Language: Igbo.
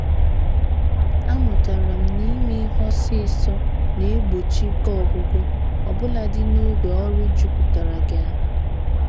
A mụtara m n'ime ihe ọsọ ọsọ na-egbochi ike ọgwụgwụ, obuladi n'oge ọrụ jupụtara gị ahụ.